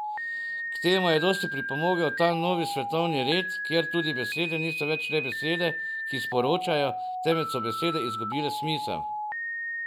K temu je dosti pripomogel ta novi svetovni red, kjer tudi besede niso več le besede, ki sporočajo, temveč so besede izgubile smisel.